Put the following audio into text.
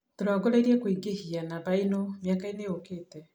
Tũrongoreirie kũingĩhia namba ino mĩakainĩ yũkite.